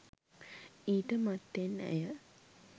ඊට මත්තෙන් ඇය